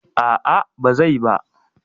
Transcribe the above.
A'a ba zai ba.